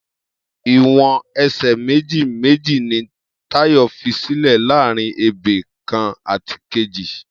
Iwọn ẹsẹ méji méji ni Tayo físìlè làárín ébé kán àtí kéji